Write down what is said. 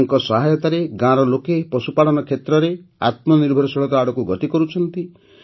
ତାଙ୍କ ସହାୟତାରେ ଗାଁର ଲୋକେ ପଶୁପାଳନ କ୍ଷେତ୍ରରେ ଆତ୍ମନିର୍ଭରଶୀଳତା ଆଡ଼କୁ ଗତି କରୁଛନ୍ତି